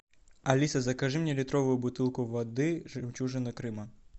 алиса закажи мне литровую бутылку воды жемчужина крыма